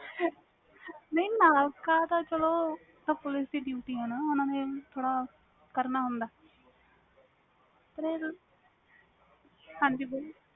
ਨਾ ਨਾਕਾ ਤਾ ਚਲੋ polic ਦੀ duty ਵ ਉਹ ਓਹਨੇ ਨੇ ਥੋੜ੍ਹਾ ਕਰਨਾ ਹੁੰਦਾ ਵ ਪਰ ਹਾਜੀ ਬੋਲੋ